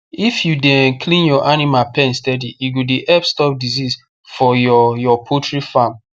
if you dey um clean your animal pen steady e go dey help stop disease for your your poultry farm